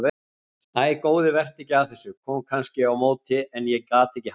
Æ góði vertu ekki að þessu, kom kannski á móti en ég gat ekki hætt